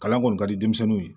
Kalan kɔni ka di denmisɛnninw ye